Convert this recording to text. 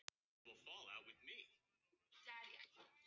Það var hægt að segja um tímann að hann væri.